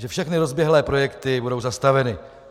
Že všechny rozběhlé projekty budou zastaveny.